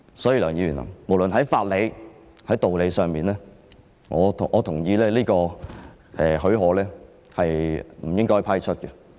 所以，梁議員，無論在法理或道理上，我都同意這個許可是不應該批出的。